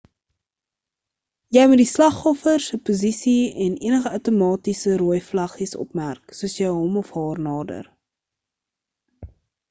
jy moet die slagoffer se posisie en enige outomatiese rooi vlaggies opmerk soos jy hom of haar nader